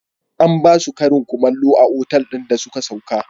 An ba su karin kumallo a otal ɗin da suka sauka.